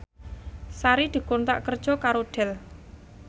Sari dikontrak kerja karo Dell